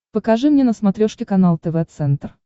покажи мне на смотрешке канал тв центр